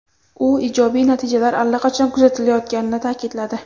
U ijobiy natijalar allaqachon kuzatilayotganini ta’kidladi.